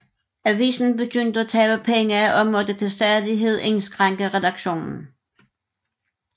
Avisen begyndte at tabe penge og måtte til stadighed indskrænke redaktionen